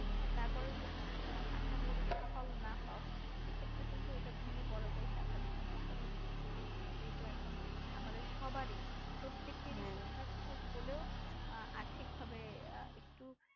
তারপর যদি তুমি তোমার আশানুরূপ ফল না পাও সেই ক্ষেত্রে কিন্তু এটা ভেঙে পড়াটাই স্বাভাবিক আমি অস্বাভাবিক কিছু বলছিনা যেহেতু এখন আমাদের সবারই প্রত্যেক আর ই কিছু না কিছু হলেও আহ আর্থিক ভাবে একটু